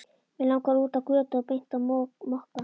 Mig langaði út á götu og beint á Mokka.